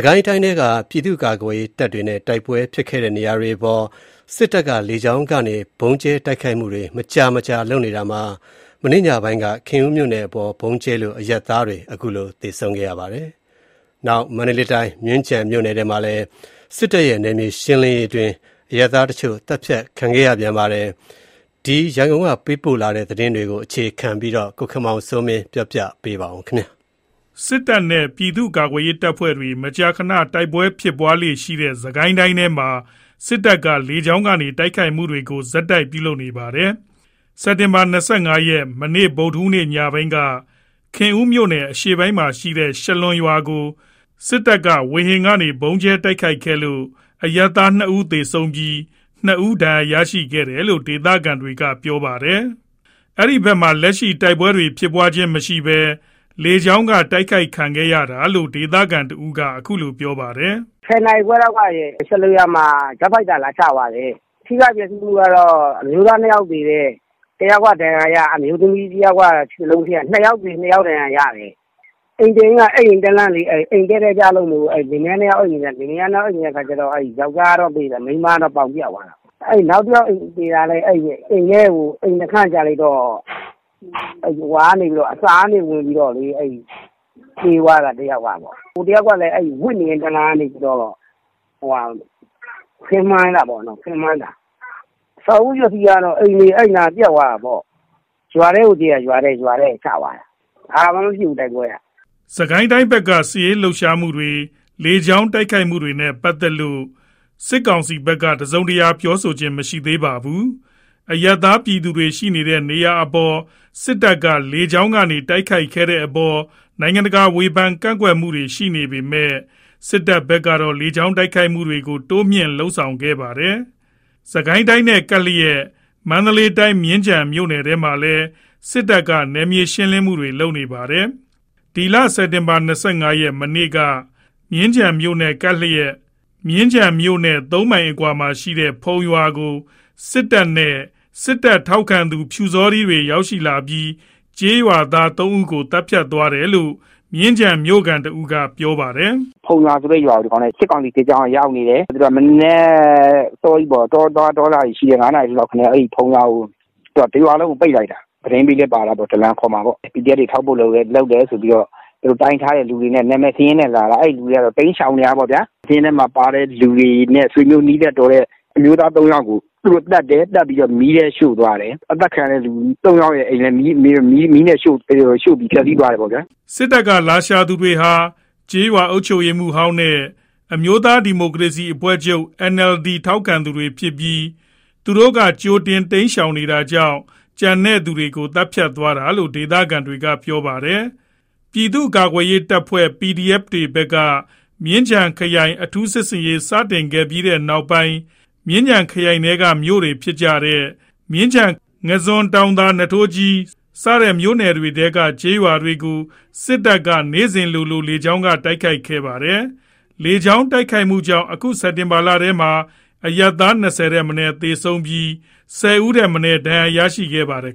ကိုင်းတိုင်းထဲက ပြည်သူ့ကာကွယ်ရေးတပ်တွေနဲ့ တိုက်ပွဲဖြစ်ခဲ့တဲ့နေရာတွေအပေါ် စစ်တပ်က လေကြောင်းကနေ ဗုံးကြဲတိုက်ခိုက်မှုတွေ မကြာမကြာ လုပ်နေတာမှာ မနေ့ညပိုင်းက ခင်ဦးမြို့နယ်အပေါ် ဗုံးကြဲလို့ အရပ်သားတွေ သေဆုံးခဲ့ပါတယ်။ မန္တလေးတိုင်း မြင်းခြံမြို့နယ်ထဲမှာလည်း စစ်တပ်ရဲ့ နယ်မြေရှင်းလင်းရေးအတွင်း အရပ်သားတချို့ သတ်ဖြတ်ခံရပါတယ်။ ရန်ကုန်ကပေးပို့တဲ့သတင်းကို အခြေခံပြီး တင်ပြထားပါတယ်။ စစ်တပ်နဲ့ ပြည်သူ့ကာကွယ်ရေးတပ်ဖွဲ့တွေ မကြာမကြာ တိုက်ပွဲတွေဖြစ်လေ့ရှိတဲ့ စစ်ကိုင်းတိုင်းထဲမှာ စစ်တပ်က လေကြောင်းကနေလည်း တိုက်ခိုက်မှုတွေကို ဆက်ပြီးလုပ်နေပါတယ်။ စက်တင်ဘာ ၂၅ ရက် ဗုဒ္ဓဟူးနေ့ ညပိုင်းက ခင်ဦးမြို့အရှေ့ပိုင်းမှာရှိတဲ့ ရှားလွင်ရွာကို စက်တင်ဘာ ၂၅ ရက် ညပိုင်းမှာ စစ်တပ်က ဝေဟင်ကနေ ဗုံးကြဲတိုက်ခိုက်ခဲ့လို့ အရပ်သား ၂ ဦး သေဆုံးပြီး ၂ ဦး ဒဏ်ရာ ရခဲ့တယ်လို့ ဒေသခံတွေက ပြောပါတယ်။ အဲဒီဘက်မှာ လက်ရှိ တိုက်ပွဲတွေ ဖြစ်မနေဘဲ လေကြောင်းက တိုက်ခိုက်ခံရတာလို့ ဒေသခံတဦးက အခုလို ပြောပါတယ်။ "၁၀ နာရီခွဲလောက်က ရှားလွင်ရွာမှာ ဂျက်ဖိုက်တာ လာချသွားတယ်။ ထိခိုက်ပျက်စီးမှုက အမျိုးသား ၂ ယောက်သေတယ်။ တယောက်က ဒဏ်ရာရ အမျိုးသမီးတဦးက ခြေသလုံးပြတ် ၂ ယောက်သေ ၂ ယောက်ဒဏ်ရာ ရတယ်။ အိမ်တအိမ်က အိပ်ရင်းတန်းလန်း အိမ်တည့်တည်ကျလို့ လင်မယား ၂ ယောက်အိပ်နေတာ ယောင်္ကျားကတော့ သေသွားတယ်။ မိန်းမကတော့ ပေါင်ပြတ်သွားတာပေါ့။ နောက်တယောက်သေတာလည်း အိမ်နှုတ်ခမ်းကျလိုက်တော့ အစကဝင်ပြီး သေသွားတာ ၁ ယောက်က။ ဟိုတယောက်ကလည်း ဝပ်နေရင်းတန်းလန်းနဲ့ ကိုယ်အောက်ပိုင်း မှန်သွားတာ။ အဆောက်အဦပျက်စီးမှုက အဲ့နားက အိမ်တွေ ပျက်တာပေါ့။ ရွာထဲကိုကြဲတာ။ တိုက်ပွဲက ဘာမှမဖြစ်ဘူး။" စစ်ကိုင်းတိုင်းဘက် စစ်ရေးလှုပ်ရှားမှုတွေ လေကြောင်းတိုက်ခိုက်မှုတွေနဲ့ ပတ်သက်လို့ စစ်ကောင်စီဘက်က တစုံတရာ ပြောခြင်း မရှိသေးပါဘူး။ အရပ်သား ပြည်သူတွေ ရှိနေတဲ့နေရာတွေအပေါ် စစ်တပ်က လေကြောင်းကနေ တိုက်ခိုက်နေတဲ့အပေါ် နိုင်ငံတကာက ဝေဖန် ကန့်ကွက်နေပေမဲ့ စစ်တပ်ဘက်ကတော့ လေကြောင်းတိုက်ခိုက်တာတွေ တိုးမြှင့်လုပ်ဆောင်နေပါတယ်။ စစ်ကိုင်းတိုင်းနဲ့ ကပ်နေတဲ့ မန္တလေးတိုင်း မြင်းခြံမြို့နယ်ထဲမှာလည်း စစ်တပ်က နယ်မြေရှင်းလင်းမှုတွေ လုပ်နေပါတယ်။ စက်တင်ဘာ ၂၅ ရက်က မြင်းခြံမြို့နဲ့ ၃ မိုင်အကွာက ဖုံရွာကို စစ်တပ်နဲ့ စစ်တပ်ထောက်ခံသူ ပျူစောထီးတွေ ရောက်ရှိလာပြီး ကျေးရွာသား ၃ ဦးကို သတ်ဖြတ်သွားတယ်လို့ မြင်းခြံမြို့ခံတဦးက ပြောပြပါတယ်။ "ဖုံရွာဆိုတဲ့ရွာကို စစ်ကောင်စီ စစ်ကြောင်းကရောက်နေတယ်။ မနက်အစောကြီး တောသွား တောလာတွေရှိတဲ့ ၅ နာရီထိုးလောက်ကို တရွာလုံးကို ပိတ်လိုက်တာ။ သတင်းပေးလည်း ပါတာပေါ့။ ဒလန်ခေါ်မှာပေါ့။ ကာကွယ်ရေး တပ်ဖွဲ့ဝင်တွေ ထောက်ပို့လုပ်တယ်ဆိုပြီး တိုင်ထားတဲ့သူတွေကို နာမည်စာရင်းနဲ့လာတာ အဲ့လူတွေကတော့ တိမ်းရှောင်နေတာပေါ့ဗျာ။ စာရင်းထဲမှာပါတဲ့သူတွေနဲ့ ဆွေမျိုးနီးစပ်တော်တဲ့ အမျိုးသား ၃ ယောက်ကို သတ်တယ် သတ်ပြီးတော့ မီးနဲ့ရှို့သွားတယ်။ အသတ်ခံရတဲ့သူ ၃ ယောက်ရဲ့ အိမ်ကိုလည်း မီးနဲ့ရှို့ပြီး ထွက်ပြေးသွားတယ်ပေါ့ဗျာ။ " စစ်တပ်က လာရှာသူတွေဟာ ကျေးရွာအုပ်ချုပ်ရေးမှူးဟောင်းနဲ့ အမျိုးသားဒီမိုကရေစီအဖွဲ့ချုပ် ထောက်ခံသူတွေဖြစ်ပြီး သူတို့က ကြိုတင်တိမ်းရှောင်နေတာကြောင့် ကျန်ရှိသူတွေကို သတ်ဖြတ်သွားတာလို့ ဒေသခံတွေက ပြောပါတယ်။ ပြည်သူ့ကာကွယ်ရေးတပ်ဖွဲ့တွေဘက်က မြင်းခြံခရိုင်အထူးစစ်ဆင်ရေးစတင်ခဲ့ပြီးနောက်ပိုင်း မြင်းခြံခရိုင်ထဲက မြို့တွေဖြစ်တဲ့ မြင်းခြံ၊ ငါန်းဇွန်၊ တောင်သာ၊ နွားထိုးကြီး မြို့နယ်တွေမှာရှိတဲ့ ကျေးရွာတွေကို စစ်တပ်က နေ့စဉ်လိုလို လေကြောင်းကနေ တိုက်ခိုက်နေပါတယ်။ လေကြောင်းတိုက်ခိုက်တာကြောင့် အခု စက်တင်ဘာလထဲမှာ အရပ်သား ၂၀ ဦးထက် မနည်းသေဆုံးပြီး ၁၀ ဦးထက်မနည်း ဒဏ်ရာရရှိထားပါတယ်